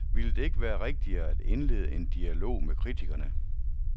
Ville det ikke være rigtigere at indlede en dialog med kritikerne.